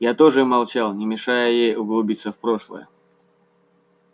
я тоже молчал не мешая ей углубиться в прошлое